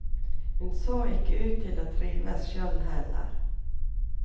Hun så ikke ut til å trives sjøl heller.